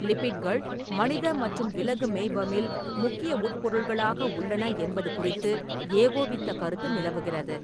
லிபிட்கள் மனித மற்றும் விலகு மெய்பமில் முக்கிய உட்பொருள்களாக உள்ளன என்பது குறித்து ஏகோபித்த கருத்து நிலவுகிறது.